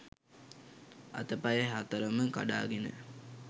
අතපය හතරම කඩාගෙන